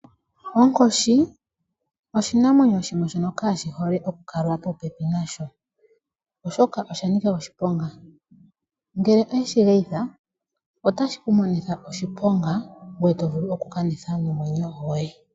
Onkoshi oshinamwenyo shimwe kaashihole okukaliwa popepi nasho oshoka osha nika oshiponga. Ngele oweshi geyitha otashi ku monitha oshiponga ngweye to vulu nokukanitha nomwenyo goye.